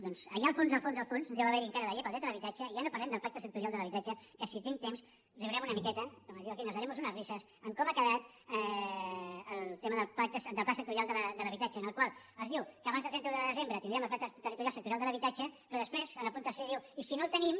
doncs allà al fons al fons al fons deu haverhi encara la llei del dret a l’habitatge i ja no parlem del pla sectorial de l’habitatge que si tinc temps riurem una miqueta com diu aquell nos haremos unas risas de com ha quedat el tema del pla sectorial de l’habitatge en el qual es diu que abans del trenta un de desembre tindríem el pla territorial sectorial de l’habitatge però després en el punt tercer diu i si no el tenim